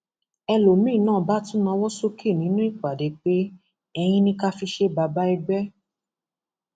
ẹlòmíín náà bá tún nawọ sókè nínú ìpàdé pé eyín ní ká fi ṣe bàbá ẹgbẹ